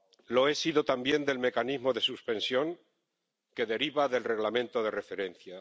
Lo he sido también del relativo al mecanismo de suspensión, que deriva del Reglamento de referencia.